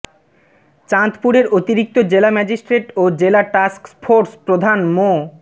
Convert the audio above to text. চাঁদপুরের অতিরিক্ত জেলা ম্যাজিস্ট্রেট ও জেলা টাস্কফোর্স প্রধান মো